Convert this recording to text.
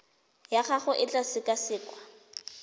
ya gago e tla sekasekwa